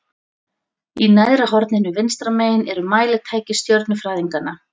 Í neðra horninu vinstra megin eru mælitæki stjörnufræðinganna.